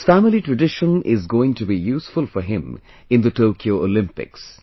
This family tradition is going to be useful for him in the Tokyo Olympics